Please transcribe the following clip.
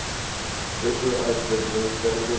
special administrative region